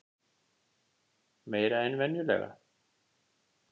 Meira en venjulega?